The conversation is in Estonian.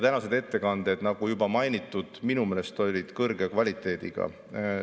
Tänased ettekanded, nagu juba mainitud, minu meelest olid kõrge kvaliteediga.